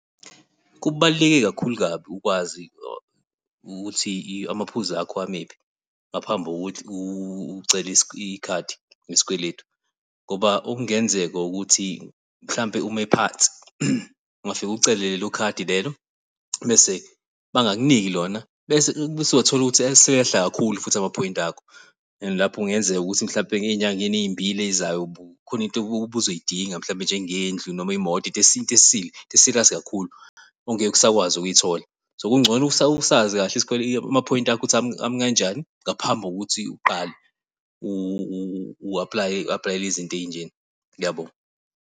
Kubaluleke kakhulu kabi ukwazi ukuthi amaphuzu akho amephi ngaphambi kokuthi ucele ikhadi lesikweletu ngoba okungenzeka ukuthi mhlampe uma ephansi ungafika ucele lelo khadi lelo bese bangakuniki lona, bese bese uthola ukuthi eseyehla kakhulu futhi amaphoyinti akho and lapho kungenzeka ukuthi mhlampe ey'nyangeni ezimbili ezizayo khona into obuzoyidinga mhlampe njengendlela noma imoto into into esile, into siriyasi kakhulu ongeke usakwazi ukuyithola, so kungcono usazi kahle isikweletu, amaphoyinti akho ukuthi ami kanjani ngaphambi kokuthi uqale u-apulaye, u-apulayela izinto ey'njena. Ngiyabonga.